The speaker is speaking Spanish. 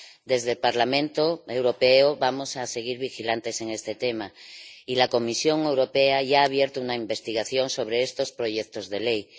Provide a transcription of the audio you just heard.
Desde el Parlamento Europeo vamos a seguir vigilantes en este tema y la Comisión Europea ya ha abierto una investigación sobre estos proyectos de ley.